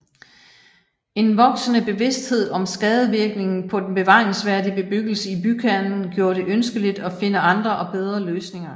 En voksende bevidsthed om skadevirkningen på den bevaringsværdige bebyggelse i bykernen gjorde det ønskeligt at finde andre og bedre løsninger